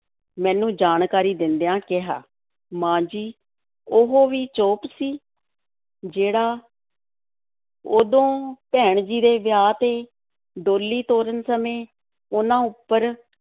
ਮੈਨੂੰ ਜਾਣਕਾਰੀ ਦਿੰਦਿਆਂ ਕਿਹਾ, ਮਾਂ ਜੀ, ਉਹ ਵੀ ਚੋਪ ਸੀ ਜਿਹੜਾ ਉਦੋਂ ਭੈਣ ਜੀ ਦੇ ਵਿਆਹ ਤੇ ਡੋਲੀ ਤੋਰਨ ਸਮੇਂ ਉਹਨਾਂ ਉੱਪਰ